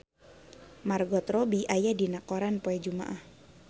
Margot Robbie aya dina koran poe Jumaah